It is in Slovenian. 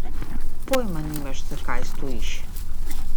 Pojma nimaš, zakaj stojiš.